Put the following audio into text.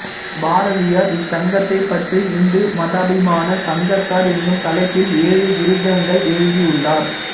பாரதியார் இச்சங்கத்தைப் பற்றி ஹிந்து மதாபிமான சங்கத்தார் என்னும் தலைப்பில் ஏழு விருத்தங்கள் எழுதியுள்ளார்